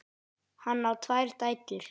Hann á tvær dætur.